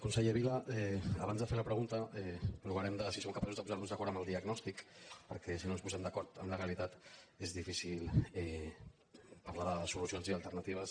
conseller vila abans de fer la pregunta provarem de si som capaços de posar·nos d’acord en el diagnòstic perquè si no ens posem d’acord en la realitat és difí·cil parlar de solucions i alternatives